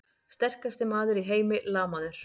Sterkasti maður í heimi lamaður!